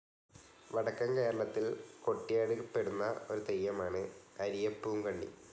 വടക്കൻ കേരളത്തിൽ കൊട്ടിയാടിക്കപ്പെടുന്ന ഒരു തെയ്യമാണ് അരിയപ്പൂങ്കണ്ണി.